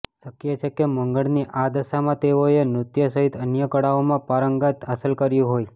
શક્ય છે કે મંગળની આ દશામાં તેઓએ નૃત્ય સહિત અન્ય કળાઓમાં પારંગત હાંસલ કર્યું હોય